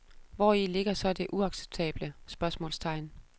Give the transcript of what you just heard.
Hvori ligger så det uacceptable? spørgsmålstegn